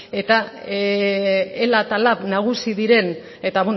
eta ela eta lab nagusi diren eta